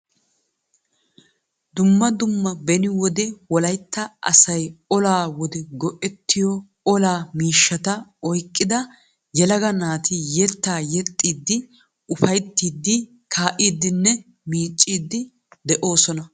Dumma dumma beni wode wollaytta asay olaa wode go"ettiyoo olaa miishshata oyqqida yelaga naati yeettaa yeexxiidi ufayttiidi ka'iidinne miicciidi de'oosona.